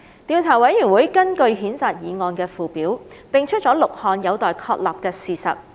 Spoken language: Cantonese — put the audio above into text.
調査委員會根據譴責議案的附表，定出了6項有待確立的事實。